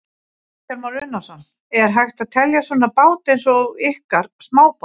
Kristján Már Unnarsson: Er hægt að telja svona bát eins og ykkar smábát?